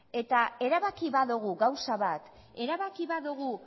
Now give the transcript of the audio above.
eta erabaki badogu gauza bat erabaki badogu